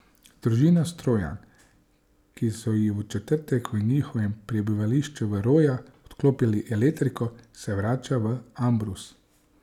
Družina Strojan, ki so ji v četrtek v njihovem prebivališču v Rojah odklopili elektriko, se vrača v Ambrus.